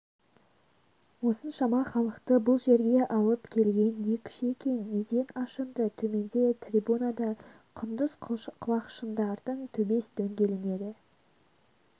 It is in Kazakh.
осыншама халықты бұл жерге алып келген не күш екен неден ашынды төменде трибунада құндыз құлақшындардың төбес дөңгеленеді